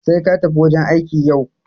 Sai katafi wajan aiki yau.